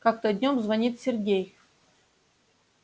как-то днём звонит сергей